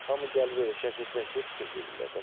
Hamı gəlib elə şəkil çəkib çıxıb gedirlər.